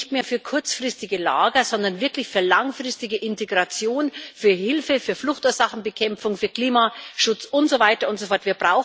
Nicht mehr für kurzfristige Lager, sondern wirklich für langfristige Integration, für Hilfe, für Fluchtursachenbekämpfung, für Klimaschutz und so weiter und so fort.